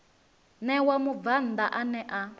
ṋewa mubvann ḓa ane a